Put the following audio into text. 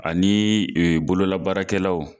Ani bololabaarakɛlaw